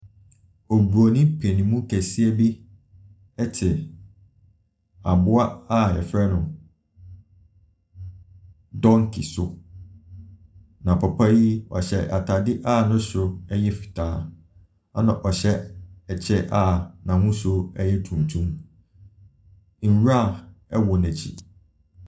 Obronin paninmu kɛseɛ bi te aboa a yɛfrɛ no donkey so. Na papa yi hyɛ a taadeɛ a ne soro yɛ fitaa. Na ɔhyɛ kyɛ a n’ahosuo yɛ tun tum. Nwura wɔ n’akyi.